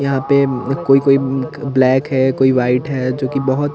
यहाँ पे उम्म कोई-कोई उम्म ब ब्लैक है कोई वाईट है जोकि बहोत --